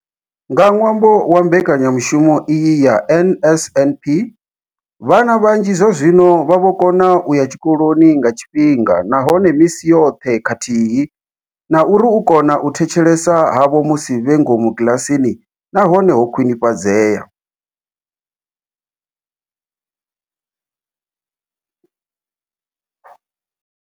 Nga ṅwambo wa mbekanyamushumo iyi ya NSNP, vhana vhanzhi zwazwino vha vho kona u ya tshikoloni nga tshifhinga nahone misi yoṱhe khathihi na uri u kona u thetshelesa havho musi vhe ngomu kiḽasini na hone ho khwinifhadzea.